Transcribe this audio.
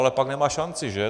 Ale pak nemá šanci, že?